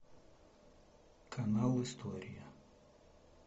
канал история